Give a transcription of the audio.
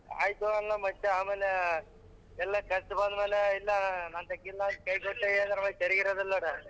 ಆಯ್ತು ಅಲ್ಲ ಮತ್ತೆ ಆಮೇಲೆ ಎಲ್ಲ ಖರ್ಚು ಬಂದ್ಮೇಲೆ ಇಲ್ಲ ನಂತ್ಯಕ್ ಇಲ್ಲ ಅಂತೇಳಿ ಕೈ ಕೊಟ್ರೆ ಸರಿ ಇರದಿಲ್ಲ ನೋಡು.